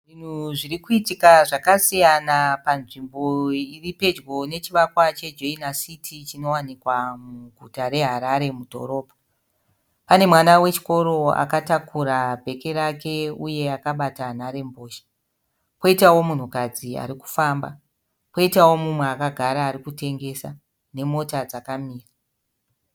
Zvinhu zvirikuitika zvakasiyana panzvimbo iripedyo nechivakwa cheJoina City chinowanikwa muguta reHarare mudhorobha. Pane mwana wechikoro akatakuara bheke rake uye akabata nharembozha, koitawo munhukadzi arikufamba, koitawo mumwe akagara arikutengesa nemota dzkamira.